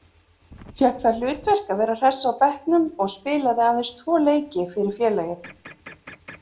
Fékk það hlutverk að vera hress á bekknum og spilaði aðeins tvo leiki fyrir félagið.